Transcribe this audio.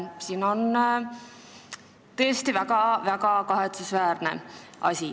See on tõesti väga kahetsusväärne asi.